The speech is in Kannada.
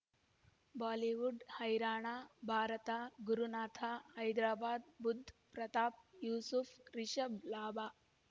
ಬಾಲಿವುಡ್ ಹೈರಾಣ ಭಾರತ ಗುರುನಾಥ ಹೈದರಾಬಾದ್ ಬುಧ್ ಪ್ರತಾಪ್ ಯೂಸುಫ್ ರಿಷಬ್ ಲಾಭ